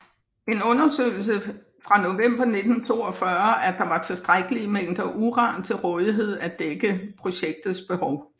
En undersøgelse fra november 1942 at der var tilstrækkelige mængder uran til rådighed til at dække projektets behov